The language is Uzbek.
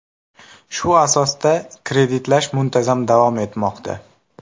Shu asosda kreditlash muntazam davom etmoqda.